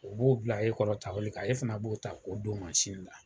U b'o bila e kɔrɔ kan ,e fana b'o ta k'o don la.